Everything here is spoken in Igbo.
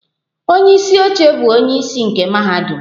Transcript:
Onye isi oche bụ onye isi nke mahadum.